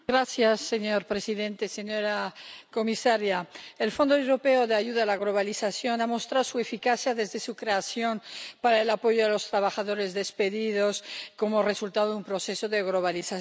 Señor presidente, señora comisaria, el Fondo Europeo de Ayuda a la Globalización ha mostrado su eficacia desde su creación para el apoyo a los trabajadores despedidos como resultado de un proceso de globalización.